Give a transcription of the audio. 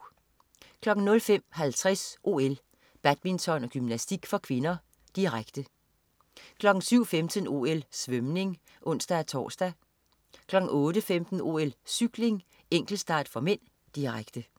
05.50 OL: Badminton/Gymnastik (k), direkte 07.15 OL: Svømning (ons-tors) 08.15 OL: Cykling, enkeltstart (m), direkte